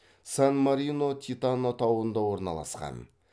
сан марино титано тауында орналасқан